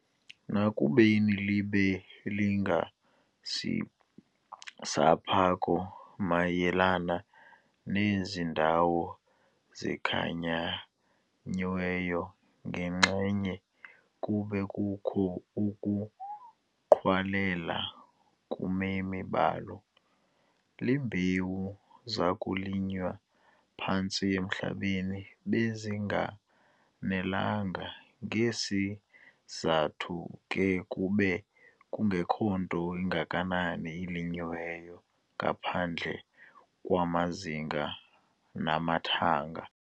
Nakubeni libe lingenasiphako mayelana nezi ndawo zikhankanyiweyo, ngenxenye kube kukho ukuqhwalela kumemi balo. Iimbewu zokulinywa phantsi emhlabeni bezinganelanga. ngesi sizathu ke kube kungekho nto ingakanani ilinywayo, ngaphandle kwamazinga namathanga.